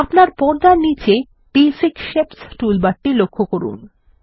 আপনার পর্দার নীচে বেসিক শেপস টুলবারটি লক্ষ্য করুন